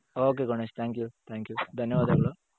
ok Ganesh thank you thank you. ಧನ್ಯವಾದಗಳು .